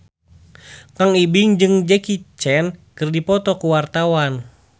Kang Ibing jeung Jackie Chan keur dipoto ku wartawan